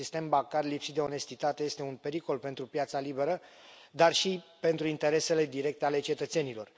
Un sistem bancar lipsit de onestitate este un pericol pentru piața liberă, dar și pentru interesele directe ale cetățenilor.